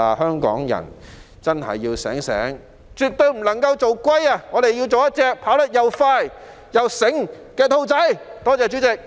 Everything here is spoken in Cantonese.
香港人真的要清醒，絕對不能做龜，我們要做一隻跑得又快又醒目的兔子。